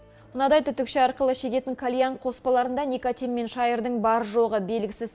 мынадай түтікше арқылы шегетін кальян қоспаларынданикотин мен шайырдың бар жоғы белгісіз